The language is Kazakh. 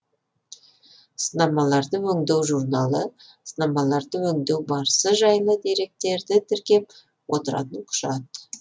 сынамаларды өңдеу журналы сынамаларды өңдеу барысы жайлы деректерді тіркеп отыратын құжат